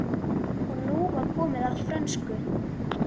Og nú var komið að frönsku!